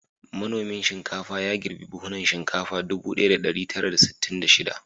Manomin shinkafa ya girbi buhunan shinkafa ɗubu ɗaya da ɗari tara da sittin da shida.